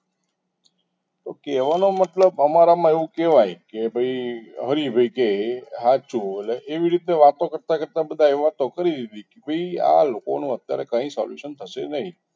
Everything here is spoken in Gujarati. તો કહેવાનો મતલબ અમારામાં એવું કહેવાય કે ભાઈ હરિભાઈ કે એ સાચું એટલે એવી રીતે વાતો કરતા કરતા બધા એ વાતો કરી લીધી એ કે ભાઈ આ લોકોનો અત્યારે કોઈ solution થશે નહીં